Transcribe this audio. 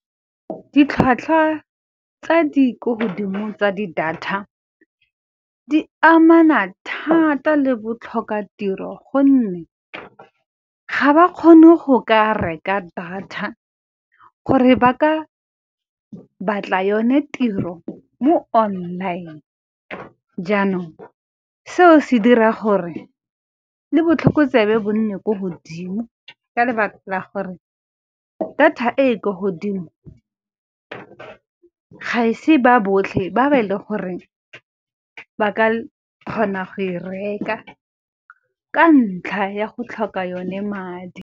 Ditlhwatlhwa tsa di ko godimo tsa di-data di amana thata le botlhokatiro, gonne ga ba kgone go ka reka data gore ba ka batla yone tiro mo online. Jaanong seo se dira gore le botlhoko tsebe bo nne ko godimo, ka lebaka la gore data e e kwa godimo ga e se ba botlhe ba ba e leng gore ba ka kgona go e reka, ka ntlha ya go tlhoka yone madi.